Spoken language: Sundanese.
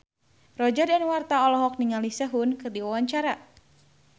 Roger Danuarta olohok ningali Sehun keur diwawancara